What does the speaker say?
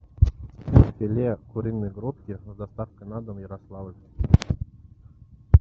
филе куриной грудки с доставкой на дом ярославль